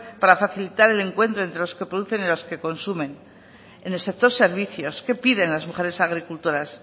para facilitar el encuentro entre los que producen y los que consumen en el sector servicios qué piden las mujeres agricultoras